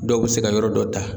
Dɔw be se ka yɔrɔ dɔ ta